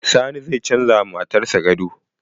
Sani zai canza ma matar sa gado.